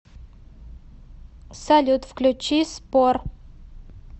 салют включи спор